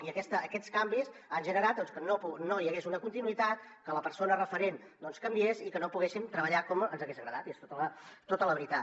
i aquests canvis han generat que no hi hagués una continuïtat que la persona referent canviés i que no poguéssim treballar com ens hagués agradat i és tota la veritat